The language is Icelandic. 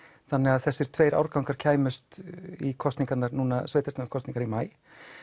þannig að þessir tveir árgangar kæmust í kosningarnar núna sveitastjórnakosningarnar í maí